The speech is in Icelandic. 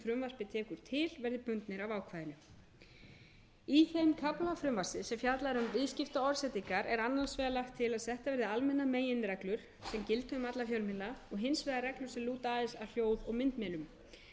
tekur til verði bundnir af ákvæðinu í þeim kafla frumvarpsins sem fjallar um viðskiptaorðsendingar er annars vegar lagt til að settar verði almennar meginreglur sem gildi um alla fjölmiðla og hins vegar reglur sem lúta aðeins að hljóð og myndmiðlum þær